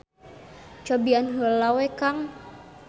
Cobian heula we Kang.